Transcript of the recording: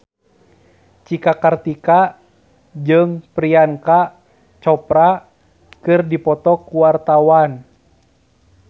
Cika Kartika jeung Priyanka Chopra keur dipoto ku wartawan